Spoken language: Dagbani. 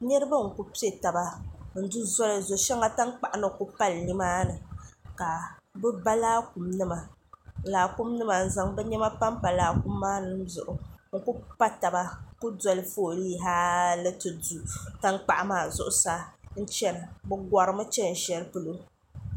niraba n ku piɛ taba n du zoli zo shɛŋa tankpaɣu ni ku pali nimaani ka bi ba laakum nima n zaŋ bi niɛma panpa bi zuɣu n ku pa taba n ku doli fooli haali ti du tankpaɣu maa zuɣusaa n chɛna bi korimi chɛni shɛli polo